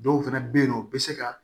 Dɔw fɛnɛ be yen nɔ u be se ka